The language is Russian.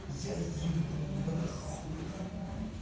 я ебу на хуй ха-ха-ха